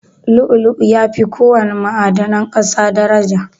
Lu'u-lu'u yafi ko wana ma'adanan ƙasa daraja.